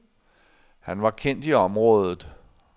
Han var kendt i området.